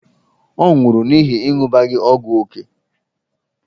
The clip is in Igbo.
Ọ nwụrụ n’ihi ịṅụbiga ógwù ókè.